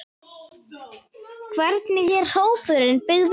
Hvernig er hópurinn byggður upp?